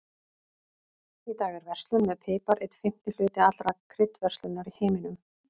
Í dag er verslun með pipar einn fimmti hluti allrar kryddverslunar í heiminum.